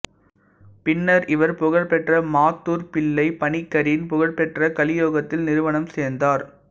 பின்னர் இவர் புகழ்பெற்ற மாத்தூர் குஞ்ஞு பிள்ளை பனிக்கரின் புகழ்பெற்ற களியோகத்தில் நிறுவனம் சேர்ந்தார்